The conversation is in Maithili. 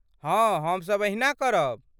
हाँ हमसभ एहिना करब।